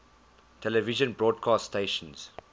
television broadcast stations